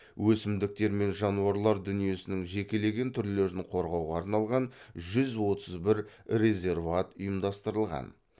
өсімдіктер мен жануарлар дүниесінің жекелеген түрлерін қорғауға арналған жүз отыз бір резерват ұйымдастырылған